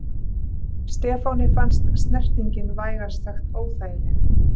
Stefáni fannst snertingin vægast sagt óþægileg.